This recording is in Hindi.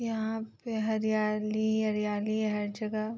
यहाँ पे हरियाली ही हरियाली है हर जहग।